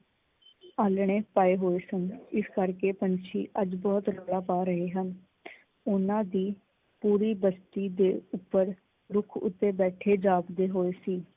ਆਲਣੇ ਪਾਏ ਹੋਏ ਸਨ ਇਸ ਕਰਕੇ ਪੰਛੀ ਅੱਜ ਬਹੁਤ ਰੋਲਾਂ ਪਾ ਰਹੇ ਹਨ। ਉਹਨਾਂ ਦੀ ਪੂਰੀ ਬਸਤੀ ਦੇ ਉੱਪਰ ਰੁੱਖ ਉੱਪਰ ਬੈਠੇ ਜਾਪਦੇ ਹੋਏ ਸੀ।